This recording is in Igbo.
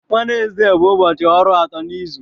Wenezde bụ ụbọchị ọrụ atọ n'izu.